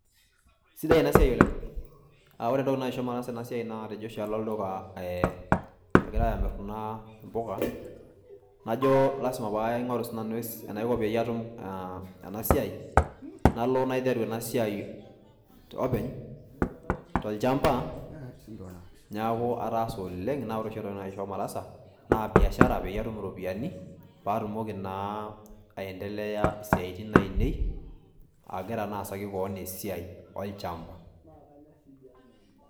sidai ena siai oleng. aa ore entoki naisho mataasa ena siai naa natejo oshi alo olduka egirae amir kuna puka najo lasima paingoru sinanu enaiko peyie atum ena siai . nalo naiteru ena siai openy tolchamba, niaku ataasa oleng naa ore oshi entoki naisho mataasa naa biashara peyie atum iropiyiani paa atumoki naa aendlea isiatin ainei , agira naa asaki kewon esiai olchamba .